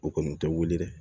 O kɔni tɛ wuli dɛ